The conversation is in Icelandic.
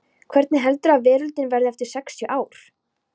Hvernig heldurðu að veröldin verði eftir sextíu ár?